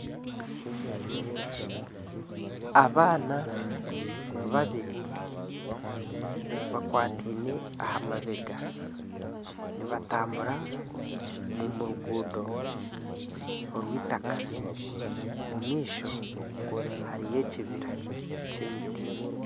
Abaana babiri bakwataine aha mabega nibatambura omu ruguuto orw'eitaka omu maisho hariyo ekibira ky'emiti.